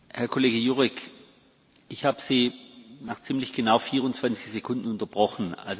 Herr Kollege Jurek! Ich habe Sie nach ziemlich genau 24 Sekunden unterbrochen.